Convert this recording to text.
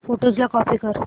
photos ला copy कर